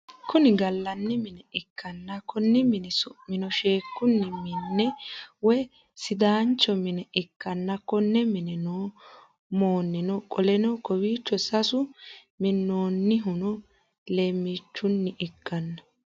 Kuni gallani mine ikkana konni mini summino sheekku mine woyi sidaanchcjo mine ikkanna konne mine no monoon qoleno kowiichchu sasu mininnonihino lemmiichchunni ikkanna